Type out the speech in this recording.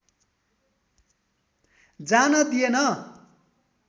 जान दिएन।